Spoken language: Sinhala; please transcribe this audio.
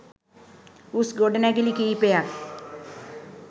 උස් ගොඩනැගිලි කීපයක්